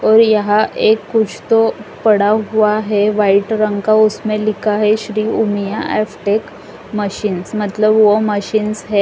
और यहां एक कुछ तो पड़ा हुआ है वाइट रंग का उसमें लिखा है Shri Umiya F tech machines मतलब वह मशीन्स है।